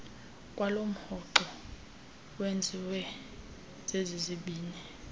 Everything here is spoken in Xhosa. kwalomhoxo owenziwe zezizibini